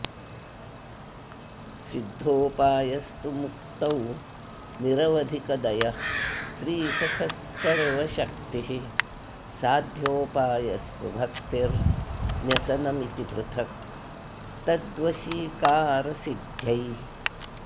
सिद्धोपायस्तु मुक्तौ निरवधिकदयः श्रीसखः सर्वशक्तिः साध्योपायस्तु भक्तिर्न्यसनमिति पृथक् तद्वशीकारसिद्ध्यै